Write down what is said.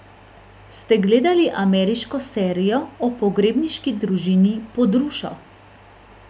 Ste gledali ameriško serijo o pogrebniški družini Pod rušo?